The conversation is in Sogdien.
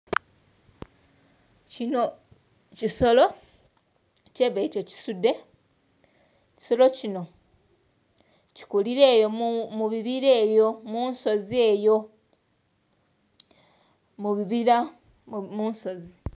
Kino kisolo kyebeeta ekisudde. Kisolo kino kikulira eyo mubibira eyo musonzi eyo... mubibira mu nsozi